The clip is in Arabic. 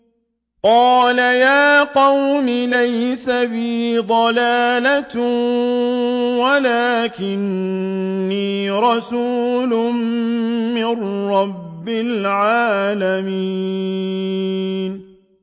قَالَ يَا قَوْمِ لَيْسَ بِي ضَلَالَةٌ وَلَٰكِنِّي رَسُولٌ مِّن رَّبِّ الْعَالَمِينَ